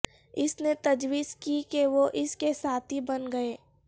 اس نے تجویز کی کہ وہ اس کے ساتھی بن گئے